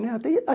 Né até